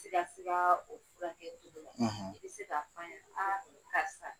I ka suma o furakɛ cogo la, i bɛ se k'a f'an y a karisa.0